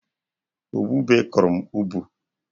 Ubube kụrụ m ubu